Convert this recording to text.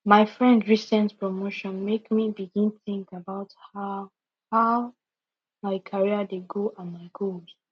my friend recent promotion make me begin think about how how my career dey go and my goals